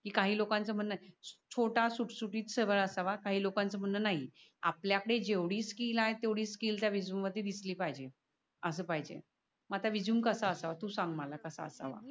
काही लोकान च म्हणन छोटा सुटसुटी सरळ असावा काही लोकाच म्हणन नाही. आपल्या आपल्या जेव्डी स्किल आहे तेवढी स्किल त्या रेझूमे मध्ये दिसली पाहिजे अस पहिजे मग रेझूमे कसा असावा? तू सांग मला कसा असावा.